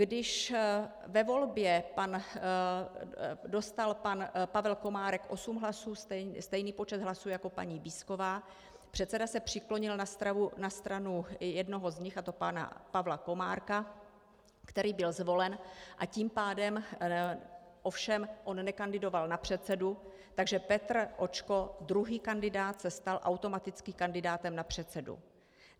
Když ve volbě dostal pan Pavel Komárek osm hlasů, stejný počet hlasů jako paní Bízková, předseda se přiklonil na stranu jednoho z nich, a to pana Pavla Komárka, který byl zvolen, a tím pádem ovšem on nekandidoval na předsedu, takže Petr Očko, druhý kandidát se stal automatickým kandidátem na předsedu.